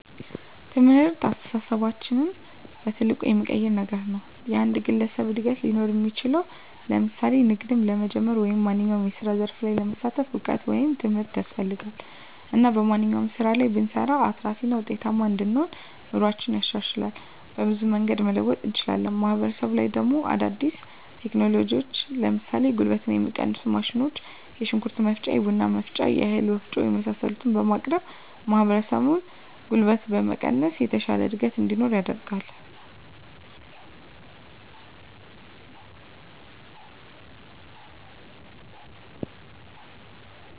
ትምህርት አስተሳሰባችንን በትልቁ የሚቀይር ነገር ነዉ። የአንድ ግለሰብ እድገት ሊኖር እሚችለዉ ለምሳሌ ንግድም ለመጀመር ወይም ማንኛዉም የስራ ዘርፍ ላይ ለመሳተፍ እዉቀት ወይም ትምህርት ያስፈልጋል እና በማንኛዉም ስራ ላይ ብንሰማራ አትራፊ እና ዉጤታማ እንሆናለን። ኑሮአችን ይሻሻላል፣ በብዙ መንገድ መለወጥ እንችላለን። ማህበረሰቡ ላይ ደሞ አዳዲስ ቴክኖሎጂዎችን ለምሳሌ ጉልበትን የሚቀንሱ ማሽኖች የሽንኩርት መፍጫ፣ የቡና መፍጫ፣ የእህል ወፍጮ የመሳሰሉትን በማቅረብ ማህበረሰቡን ጉልበት በመቀነስ የተሻለ እድገት እንዲኖር ያደርጋል።